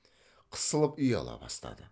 қысылып ұяла бастады